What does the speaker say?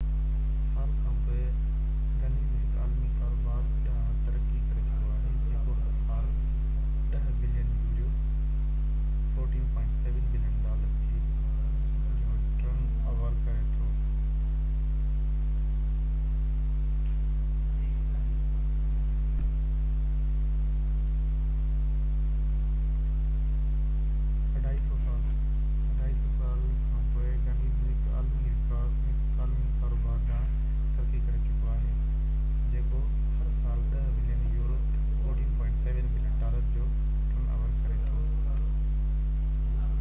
250 سال کان پوءِ، گينيس هڪ عالمي ڪاروبار ڏانهن ترقي ڪري چڪو آهي جيڪو هر سال 10 بلين يورو 14.7 بلين ڊالر جو ٽرن اوور ڪري ٿو